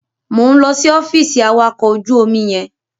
Mò ń lọ sí ọfíìsì awakọ̀ ojú omi yẹn.